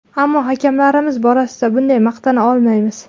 Ammo hakamlarimiz borasida bunday maqtana olmaymiz.